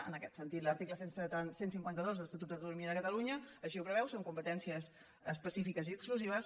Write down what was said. en aquest sentit l’article cent i cinquanta dos de l’estatut d’autonomia de catalunya així ho preveu són competències específiques i exclusives